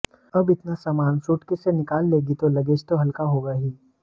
अब इतना सामान सूटकेस से निकाल लेगी तो लगेज तो हल्का होगा ही